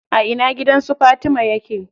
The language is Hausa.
A ina gidan su Fatima yake?